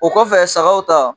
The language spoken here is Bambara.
O kɔfɛ sagaw ta